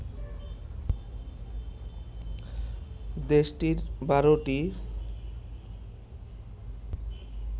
দেশটির ১২ টি